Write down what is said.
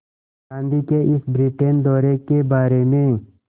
गांधी के इस ब्रिटेन दौरे के बारे में